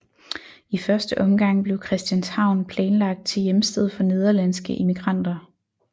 I første omgang blev Christianshavn planlagt til hjemsted for nederlandske immigranter